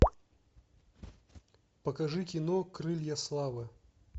покажи кино крылья славы